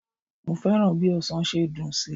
Mo fẹ́ràn bí ọsàn ṣe dùn sí.